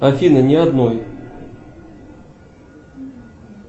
афина ни одной